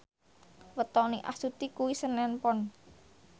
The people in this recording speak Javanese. wetone Astuti kuwi senen Pon